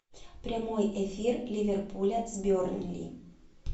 прямой эфир ливерпуля с бернли